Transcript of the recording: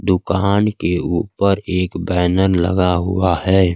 दुकहान के ऊपर एक बैनर लगा हुआ है।